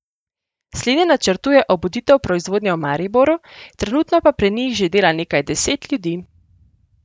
Slednje načrtuje obuditev proizvodnje v Mariboru, trenutno pa pri njih že dela nekaj deset ljudi.